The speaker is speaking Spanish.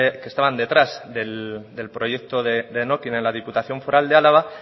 que estaban detrás del proyecto de denokinn en la diputación foral de álava